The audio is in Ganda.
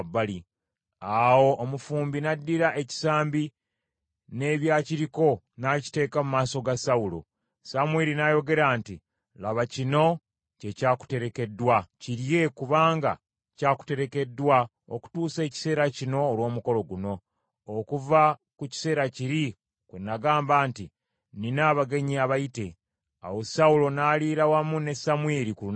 Awo omufumbi n’addira ekisambi, n’ebyakiriko n’akiteeka mu maaso ga Sawulo. Samwiri n’ayogera nti, “Laba kino kye kyakuterekeddwa. Kirye kubanga kyakuterekeddwa okutuusa ekiseera kino olw’omukolo guno, okuva ku kiseera kiri, bwe nagamba nti, ‘Nnina abagenyi abayite.’ ” Awo Sawulo n’aliira wamu ne Samwiri ku lunaku olwo.